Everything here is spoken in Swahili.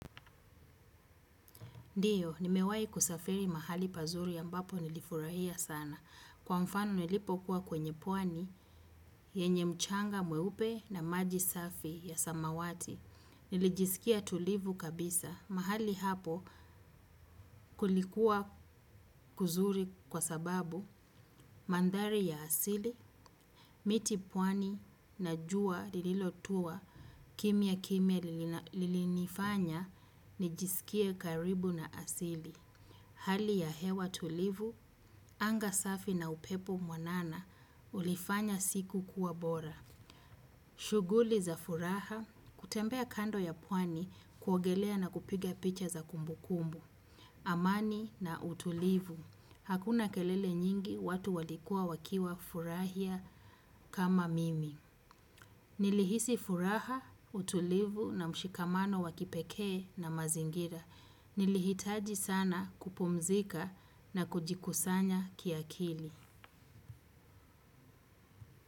Ndiyo, nimewahi kusafiri mahali pazuri ambapo nilifurahia sana. Kwa mfano nilipo kuwa kwenye pwani, yenye mchanga mweupe na maji safi ya samawati. Nilijisikia tulivu kabisa. Mahali hapo kulikuwa kuzuri kwa sababu, mandari ya asili, miti pwani na juwa lililotua kimyakimya lilinifanya nijisikie karibu na asili. Hali ya hewa tulivu, anga safi na upepo mwanana ulifanya siku kuwa bora. Shuguli za furaha, kutembea kando ya puani kuogelea na kupiga picha za kumbukumbu. Amani na utulivu, hakuna kelele nyingi watu walikua wakiwafurahia kama mimi. Nilihisi furaha, utulivu na mshikamano wa kipekee na mazingira. Nilihitaji sana kupumzika na kujikusanya kiakili.